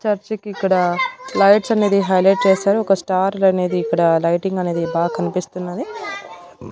Church కిక్కడ lights అనేది highlight చేశారు ఒక స్టార్ లనేది ఇక్కడ లైటింగ్ అనేది బాగ్ కన్పిస్తున్నది.